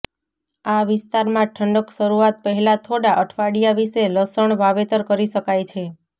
આ વિસ્તારમાં ઠંડક શરૂઆત પહેલા થોડા અઠવાડિયા વિશે લસણ વાવેતર કરી શકાય છે